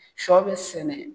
Sɔ bɛ sɛnɛ